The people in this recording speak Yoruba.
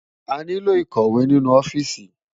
Àniló ikòwé ninú òfìsí